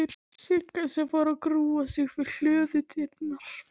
Sigga fór að grúfa upp við hlöðudyrnar.